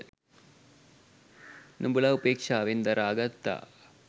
නුඹලා උපේක්ෂාවෙන් දරා ගත්තා.